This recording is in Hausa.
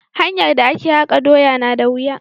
hanyar da a ke haka doya na da wuya.